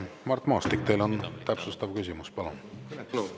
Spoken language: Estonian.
Mart Maastik, teil on täpsustav küsimus, palun!